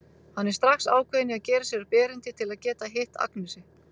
Hann er strax ákveðinn í að gera sér upp erindi til að geta hitt Agnesi.